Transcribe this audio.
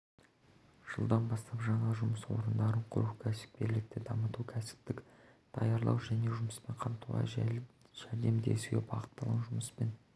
жылдан бастап жаңа жұмыс орындарын құру кәсіпкерлікті дамыту кәсіптік даярлау және жұмыспен қамтуға жәрдемдесуге бағытталған жұмыспен